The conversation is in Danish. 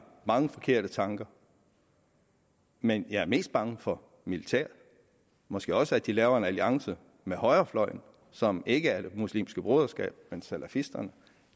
mange forkerte tanker men jeg er mest bange for militæret og måske også for at de laver en alliance med højrefløjen som ikke er det muslimske broderskab men salafisterne